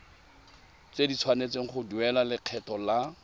tshwanetse go duela lekgetho la